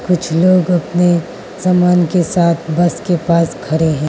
कुछ लोग अपने समान के साथ बस के पास खड़े है।